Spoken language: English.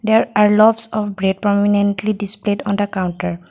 there are lots of bre prominently displayed on the counter.